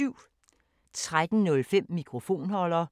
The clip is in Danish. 13:05: Mikrofonholder 14:05: Finnsk Terapi (G)